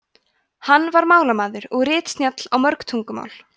hann var málamaður og ritsnjall á mörg tungumál